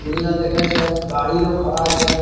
दुनिया देखे छे गाड़ी डा खड़ा छे।